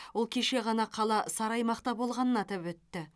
ол кеше ғана қала сары аймақта болғанын атап өтті